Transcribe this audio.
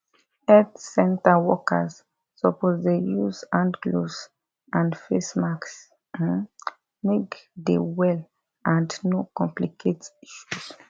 health center workers suppose dey use hand gloves and face masks um make dey well and no complicate issues